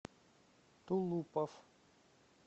тулупов